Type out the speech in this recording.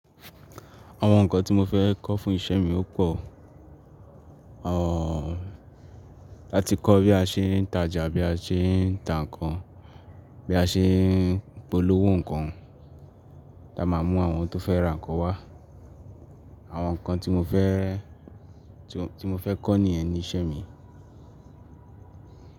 Àwọn nǹkan tí mo fẹ́ kọ́ fún iṣẹ́ mi ó pò. À tí kọ́ bí a ṣe ń tajà, bí a ṣe ń ta nǹkan, bí a ṣe ń polówó nǹkan, ti a máa mú àwọn tó fẹ́ ra nǹkan wá. Àwọn nǹkan tí mo fẹ́, tí mo fẹ́ kọ́ níye ni iṣẹ́ mi.